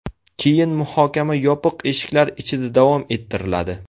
Keyin muhokama yopiq eshiklar ichida davom ettiriladi.